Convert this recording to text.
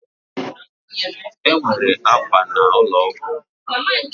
Enwere akwa na ụlọ ọgwụ